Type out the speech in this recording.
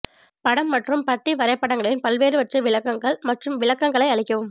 படம் மற்றும் பட்டி வரைபடங்களின் பல்வேறுவற்றை விளக்குங்கள் மற்றும் விளக்கங்களை அளிக்கவும்